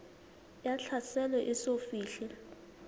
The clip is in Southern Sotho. ya tlhaselo e eso fihle